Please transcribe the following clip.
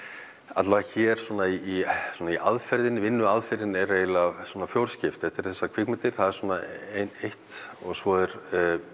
alla vega hér svona í svona í aðferðinni vinnuaðferðin er svona fjórskipt þetta eru kvikmyndir það er eitt og svo er